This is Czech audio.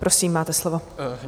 Prosím, máte slovo.